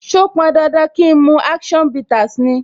So pọn dandan kín mu action bitters ni?